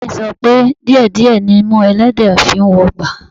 Bàbáà mi sọ pé díẹ̀ díẹ̀ nimú ẹlẹ́dẹ̀ẹ́ fi ń wọgbà